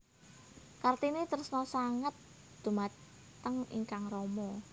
Kartini tresna sanget dhumateng ingkang rama